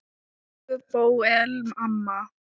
Elsku Bóel amma.